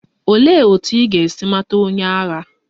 Olee otú ị ga-esi mata onye agha?